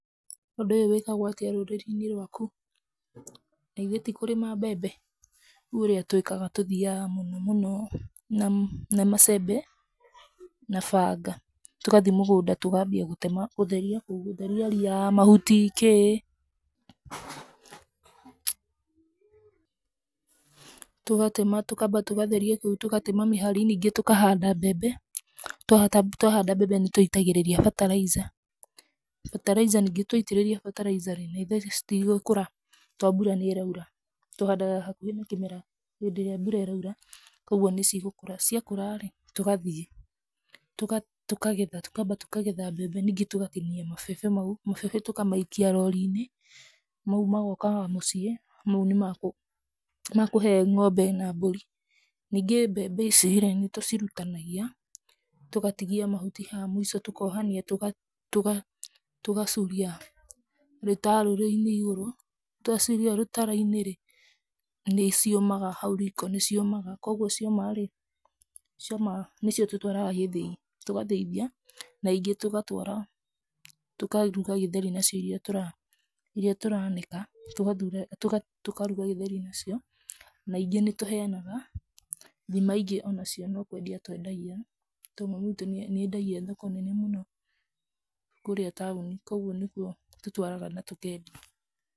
Ũndũ ũyũ wĩkagwo atĩa rũrĩrĩ-inĩ rwaku? Na ithĩ ti kũrĩma mbembe, rĩu ũrĩa twĩkaga tũthiaga mũno mũno na macembe, na banga tũgathiĩ mũgũnda tukambia gũtema gũtheria kũu, gũtheria ria ,mahuti kĩĩ, tũgatema tũkamba tũgatheria kũu, tũgatema mĩhari ningĩ tũkahanda mbembe. Twahanda mbembe nĩ tũitagĩrĩria batarica, bataraica ningĩ twatĩrĩria bataraica rĩ, na ithĩ citigũkũra tondũ mbura nĩ ĩraura, tũhandaga hakuhĩ na kĩmera hĩndĩ ĩrĩa mbura ĩraura, koguo nĩ cigũkũra, ciakũra rĩ tũgathiĩ tũkagetha, tũkamba tũkagetha mbembe ningĩ tũgatinia mabebe mau, mabebe tũkamaikia rori-inĩ mau magokaga mũciĩ, mau nĩ makũhe ng'ombe na mbũri. Ningĩ mbembe ici rĩ, nĩtũcirutanagia tũgatigia mahuti haha mũico tũkohania tũgacuria rũtarũrũ-inĩ igũrũ, twacuria rũtara-inĩ, nĩ ciũmaga hau riko, nĩ ciũmaga koguo cioma rĩ nĩ cio tũtwaraga gĩthĩi, tũgathĩithia na ingĩ tũgatwara tũkaruga gĩtheri nacio, irĩa tũranĩka tũkaruga gĩtheri nacio, na ingĩ nĩ tũheanaga, thima ingĩ ona cio nĩ kwendia twendagia, tondũ mami witũ nĩ endagia thoko nene mũno kũrĩa taũni, koguo nĩtũtwaraga na tũkendia.